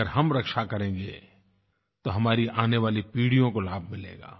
अगर हम रक्षा करेंगे तो हमारी आने वाली पीढ़ियों को लाभ मिलेगा